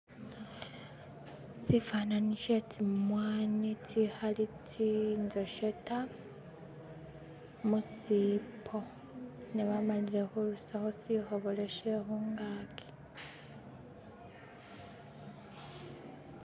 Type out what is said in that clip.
sifanani shetsi tsimwanyi tsihali tsinjoshe ta musiibo ngabamalile hurusaho sihobololo syehungaki